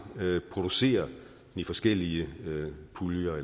producerer i forskellige puljer